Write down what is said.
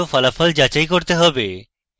প্রাপ্ত ফলাফল যাচাই করতে হবে